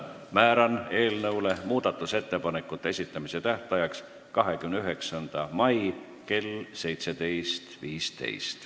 Määran eelnõu muudatusettepanekute esitamise tähtajaks 29. mai kell 17.15.